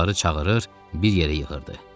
Onları çağırır, bir yerə yığırdı.